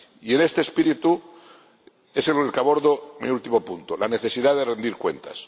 Y con este espíritu abordo mi último punto la necesidad de rendir cuentas.